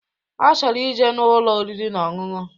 Ọchọrọ ije n'Ụlọ oriri na ọṅụṅụ